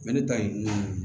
Mɛ ne ta ye mun ye